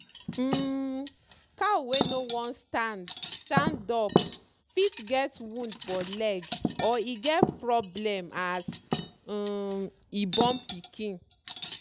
um cow wey no wan stand stand up fit get wound for leg or e get problem as um e born pikin.